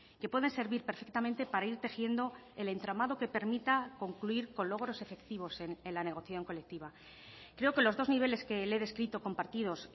que pueden servir perfectamente para ir tejiendo el entramado que permita concluir con logros efectivos en la negociación colectiva creo que los dos niveles que le he descrito compartidos